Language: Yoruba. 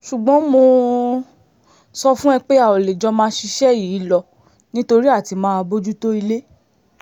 ṣùgbọ́n mo sọ fún un pé a ò lè jọ máa ṣiṣẹ́ yìí lọ nítorí àti máa bójútó ilé